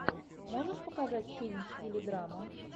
можешь показать фильм в стиле драма